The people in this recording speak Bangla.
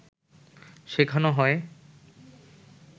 শেখানো হয়